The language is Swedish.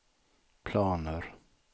planer